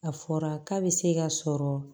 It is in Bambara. A fɔra k'a bɛ se ka sɔrɔ